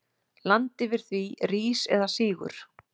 Land yfir því rís eða sígur.